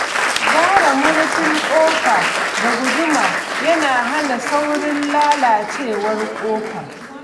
Gyara murfin kofa da guduma yana hana saurin lalacewar ƙofar.